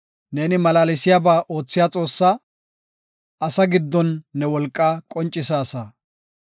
Neeni malaalsiyaba oothiya Xoossaa; asaa giddon ne wolqaa qoncisaasa.